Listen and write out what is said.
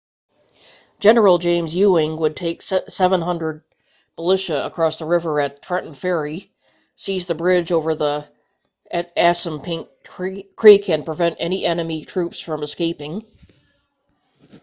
general james ewing would take 700 militia across the river at trenton ferry seize the bridge over the assunpink creek and prevent any enemy troops from escaping